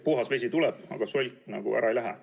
Puhas vesi tuleb, aga solk ära ei lähe.